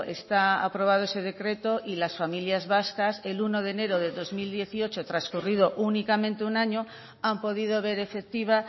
está aprobado ese decreto y las familias vascas el uno de enero de dos mil dieciocho transcurrido únicamente un año han podido ver efectiva